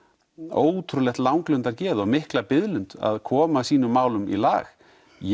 ótrúlegt langlundargeð og mikla biðlund að koma sínum málum í lag ég